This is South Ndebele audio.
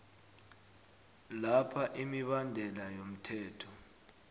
lapha imibandela yomthetho